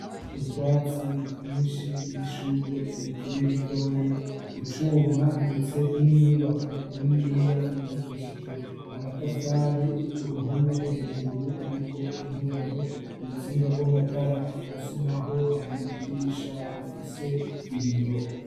Utwatsi twinshi n'ishugwe rikiri ritoyi icuma ndetse n'inyubako niniya yubakishijwe amatafari ku ruhome hejuru hariko intoboro urutsinga gw'amatara musi naho hari idirisha rifise ibiyo.